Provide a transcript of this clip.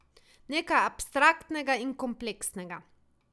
Nekaj abstraktnega in kompleksnega.